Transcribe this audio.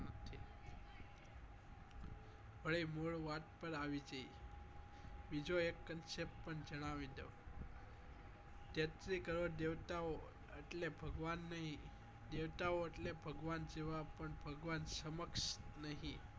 અહી મૂળ વાત પર આવી જઈએ બીજો એક કન્સ્ય્પ પણ જણાવી દઉં તેત્રી કરોડ દેવતા ઓ એટલે ભગવાન નહી દેવતા ઓ એટલે ભગવાન જેવા પણ ભગવાન પણ ભગવાન સમક્ષ નહી